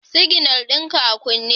Siginal ɗin ka a kunne